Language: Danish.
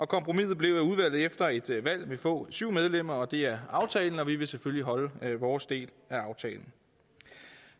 kompromiset blev at udvalget efter et valg vil få syv medlemmer det er aftalen og vi vil selvfølgelig holde vores del af aftalen